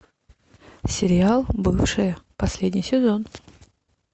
сериал бывшие последний сезон